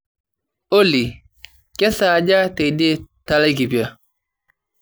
olly kesaaja teidie telaikipia